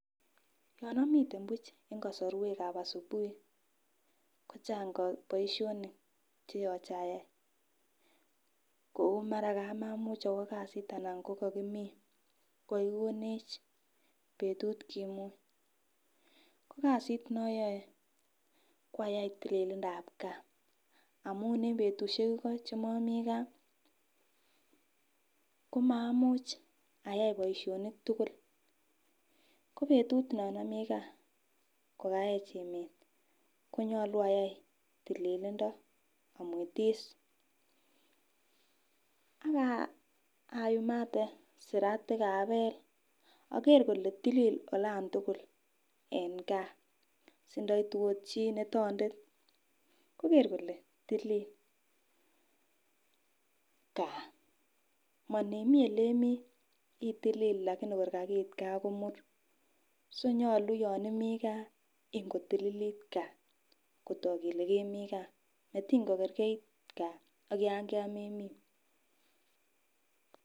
Yon omiten buch en kosorwekab asubuhi kochang boishonik cheyoche ayai kou mara kakamuch owoo kasit ana kokokikonech betut kimuny ko kasit koyoe ko ayai tililindab gaa amun en betushek iko chemomii gaa komamuch ayai boishonik tukul . Ko betut non omii gaa ko kayech emet konyolu ayai tililindo omwetisak ayumate siratik abel okere ole tilil olan tukul en gaa sindoitu ot chii neu tondet kokor kole tilil gaa monimii ole imii itilile Lakini kor kakiit gaa ko mur. So nyolu yon imii gaa in kotililit gaa kotok kele kemiingaa matin kokergeit gaa ak yon memeii.